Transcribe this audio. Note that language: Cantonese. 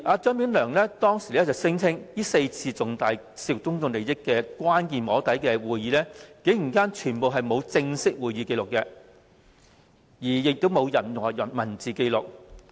張炳良當時聲稱，這4次涉及重大公眾利益的關鍵"摸底"會議，全部沒有正式會議紀錄，亦沒有任何文字紀錄。